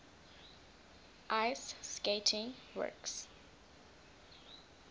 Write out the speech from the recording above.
ice skating works